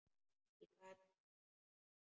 Ég gat ekki sagt nei.